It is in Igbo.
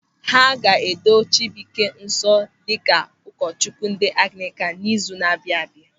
A ga-edo Chịbụị́ké nsọ dịka ụkọchukwu ndị Anglịkan n'izu na-abịa abịa.